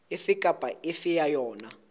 efe kapa efe ya yona